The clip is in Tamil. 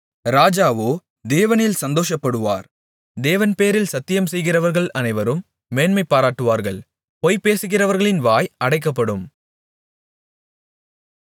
ராஜாவோ தேவனில் சந்தோஷப்படுவார் தேவன் பேரில் சத்தியம்செய்கிறவர்கள் அனைவரும் மேன்மைபாராட்டுவார்கள் பொய் பேசுகிறவர்களின் வாய் அடைக்கப்படும்